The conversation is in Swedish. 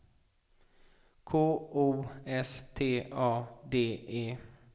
K O S T A D E